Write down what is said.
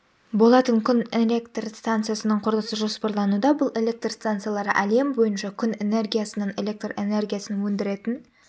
болатын күн электрстанциясының құрылысы жоспарлануда бұл электр станциялары әлем бойынша күн энергиясынан электр энергиясын өндіретін